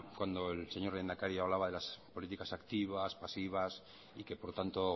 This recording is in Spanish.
cuando el señor lehendakari hablaba de las políticas activas pasivas y que por tanto